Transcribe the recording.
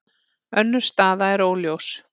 Önnur staða er óljós.